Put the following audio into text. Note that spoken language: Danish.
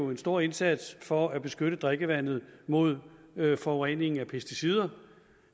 en stor indsats for at beskytte drikkevandet mod forurening af pesticider